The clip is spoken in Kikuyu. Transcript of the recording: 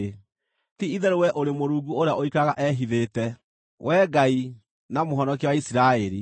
Ti-itherũ wee ũrĩ Mũrungu ũrĩa ũikaraga ehithĩte, Wee Ngai na Mũhonokia wa Isiraeli.